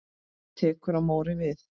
Tekur Móri við?